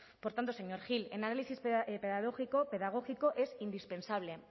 por tanto señor gil el análisis pedagógico es indispensable